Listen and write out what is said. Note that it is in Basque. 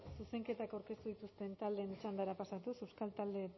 zuzenketak aurkeztu dituzten taldeen txandara pasatuz euskal talde